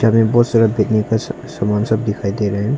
सामान सब दिखाई दे रहा है।